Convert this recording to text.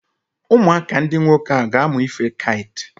Ụmụaka ndị nwoke ahụ ga-amụ ife kait.